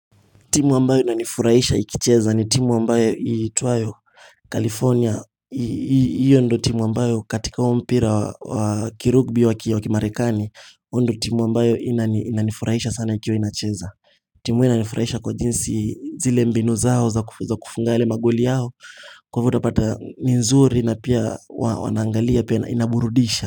Timu ambayo inanifurahisha ikicheza ni timu ambayo ituayo California. Iyo ndo timu ambayo katika huo mpira wa kirugbi wa kio kimarekani, iyo ndo timu ambayo inani inanifurahisha sana ikiwa inacheza. Timu inanifurahisha kwa jinsi zile mbinu zao za kufunga yale magoli yao, kwa hivyo utapata ni nzuri na pia wanaangalia pia inaburudisha.